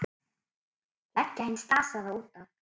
Leggja hinn slasaða út af.